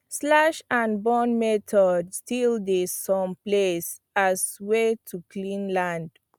slash and burn method still dey some places as way to clear land